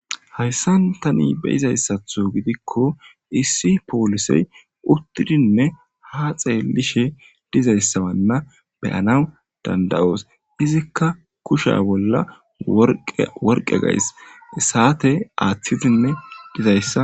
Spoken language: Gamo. Hayssan tani be'izaysatho gidikko issi polisey utidinne ha xelishe dizaysa bolla be'annaw danda'os izikka kusha bolla worqqe worqqe gays saate aththidi dizaysa .